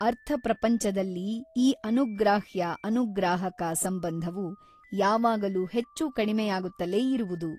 ಅರ್ಥ ಪ್ರಪಂಚದಲ್ಲಿ ಈ ಅನುಗ್ರಾಹ್ಯ ಅನುಗ್ರಾಹಕ ಸಂಬಂಧವು ಯಾವಾಗಲೂ ಹೆಚ್ಚು ಕಡಿಮೆಯಾಗುತ್ತಲೇ ಇರುವುದು.